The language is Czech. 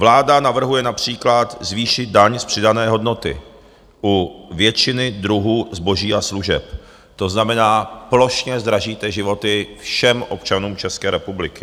Vláda navrhuje například zvýšit daň z přidané hodnoty u většiny druhů zboží a služeb, to znamená, plošně zdražíte životy všem občanům České republiky.